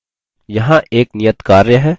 यहाँ एक नियत कार्य है